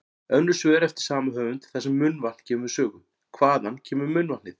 Önnur svör eftir sama höfund þar sem munnvatn kemur við sögu: Hvaðan kemur munnvatnið?